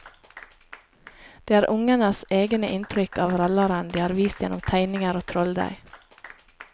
Det er ungenes egene inntrykk av rallaren de har vist gjennom tegninger og trolldeig.